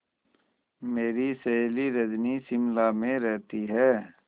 मेरी सहेली रजनी शिमला में रहती है